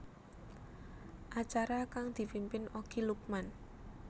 Acara kang dipimpin Okky Lukman